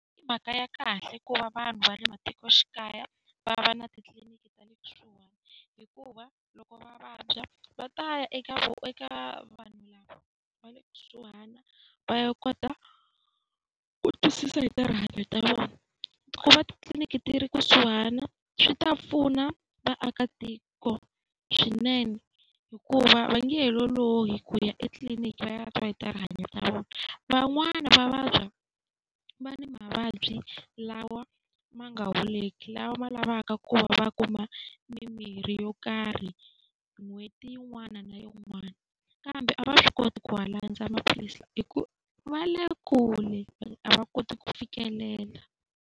I mhaka ya kahle ku va vanhu va le matikoxikaya va va na titliliniki ta le kusuhani hikuva, loko va vabya va ta ya eka eka vanhu lava va le kusuhana va ya kota ku twisisa hi ta rihanyo ra vona. Ku va titliliniki ti ri kusuhana swi ta pfuna vaakatiko swinene hikuva va nge he lolohi ku ya etliliniki, va ya twa hi ta rihanyo ra vona. Van'wani va vabya va ni mavabyi lawa ma nga holiki, lama ma lavaka ku va kuma mimirhi yo karhi n'hweti yin'wana na yin'wana. Kambe a va swi koti ku ma landza maphilisi lawa hikuva ya le kule, a va koti ku fikelela.